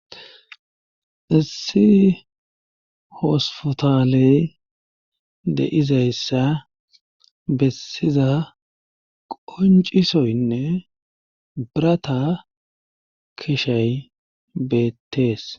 issi hospotaley de7izayssa bessiza qoncisoynne birata kishay beettees